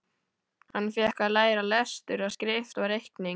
Hann fékk að læra lestur og skrift og reikning.